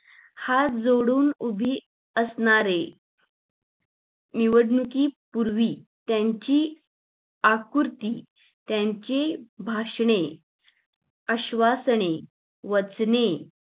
हात जोडून उभे असणारे निवडणुकीत पूर्वी त्यांची आकृती त्यांची भाषणे आश्वासने वाचणे